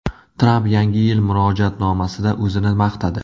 Tramp Yangi yil murojaatnomasida o‘zini maqtadi.